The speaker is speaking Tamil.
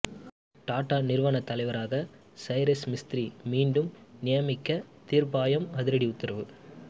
டாடா நிறுவன தலைவராக சைரஸ் மிஸ்திரி மீண்டும் நியமிக்க தீர்ப்பாயம் அதிரடி உத்தரவு